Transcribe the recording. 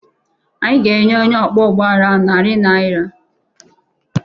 Anyị ga-enye onye ọkwọ ụgbọala ahụ narị naira